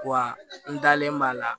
Wa n dalen b'a la